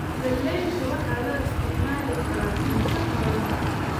Galaydu waxaa loo isticmaali karaa cunto xoolaha.